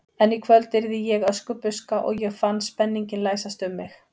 En í kvöld yrði ég Öskubuska og ég fann spenninginn læsast um mig.